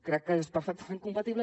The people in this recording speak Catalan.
crec que és perfectament compatible